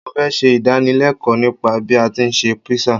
Mo fẹ́ ṣe ìdánilẹ́ẹ̀kọ́ nípa bí a tí ń ṣe Písà.